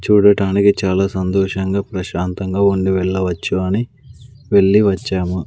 చూడటానికి చాలా సంతోషంగా ప్రశాంతంగా ఉంది వెళ్ళవచ్చు అని వెళ్లి వచ్చాము.